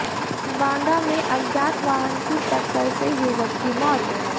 बांदा में अज्ञात वाहन की टक्कर से युवक की मौत